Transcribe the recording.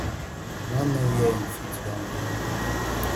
no know wia im fit don go